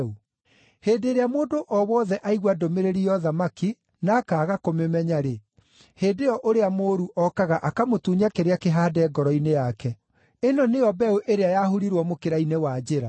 Hĩndĩ ĩrĩa mũndũ o wothe aigua ndũmĩrĩri ya ũthamaki na akaaga kũmĩmenya-rĩ, hĩndĩ ĩyo ũrĩa mũũru okaga akamũtunya kĩrĩa kĩhaande ngoro-inĩ yake. Ĩno nĩyo mbeũ ĩrĩa yahurirwo mũkĩra-inĩ wa njĩra.